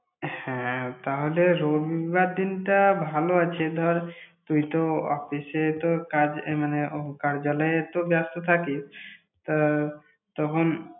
হ্যাঁ, তাহলে রবিবার দিনটা ভালো আছে। ধর, তুই তো office এ তো কাজে মানে ও কার্যালয়ে তো ব্যস্ত থাকিস, তা তখন।